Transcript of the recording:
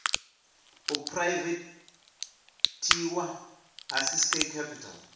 u phuraivethiwa ha ciskei capital